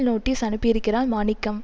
notice அனுப்பியிருக்கிறான் மாணிக்கம்